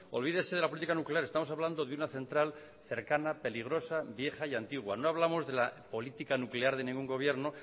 olvídese de la política nuclear estamos hablando de una central cercana peligrosa vieja y antigua no hablamos de la política nuclear de ningún gobierno